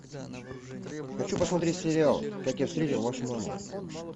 хочу посмотреть сериал как я встретил вашу маму